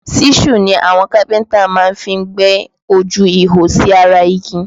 Ṣíṣù ni àwọn kápẹ́ntà máa fí ń gbẹ́ ojú ihò sí ara igi